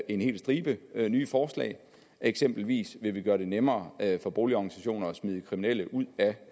en hel stribe nye forslag eksempelvis vil vi gøre det nemmere for boligorganisationer at smide kriminelle ud